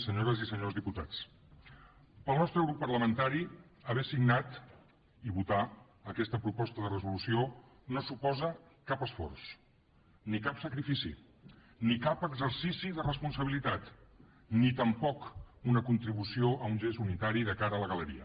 senyores i senyors diputats per al nostre grup parlamentari haver signat i votar aquesta proposta de resolució no suposa cap esforç ni cap sacrifici ni cap exercici de responsabilitat ni tampoc una contribució a un gest unitari de cara a la galeria